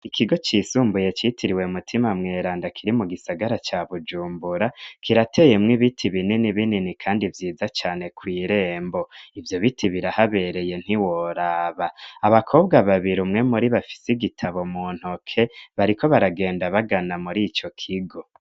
Ikigo cisumbuye citiriwe mutima mweranda kiri mu gisagara ca bujumbura kirateyemwo ibiti binini binini, kandi vyiza cane kw'irembo ivyo biti birahabereye ntiworaba abakobwa babiri umwe mu uri bafise igitabo mu ntoke bariko baragenda bagana muri ico kigo.